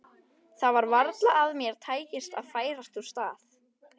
Það var varla að mér tækist að færast úr stað.